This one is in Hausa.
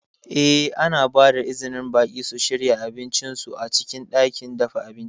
Eh, ana ba da izinin baƙi su shirya abincin su a cikin ɗakin dafa abinci.